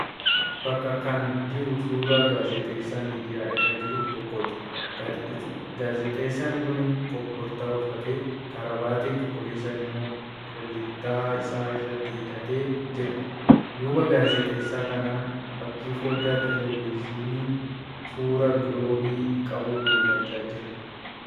Bakka kan jiru suuraa gaazixeessaa miidiyaa irra jiru tokkooti. Gaazixeessan kun kobortaa uffatee karaabaatii cuquliisa immoo kullittaa isaa irratti hidhatee jira. Duuba Gaazixeessaa kanaan fakkiin foddaa 'Televezinii' suuraa 'giloobii' qabu mul'achaa jira.